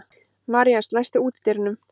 Marías, læstu útidyrunum.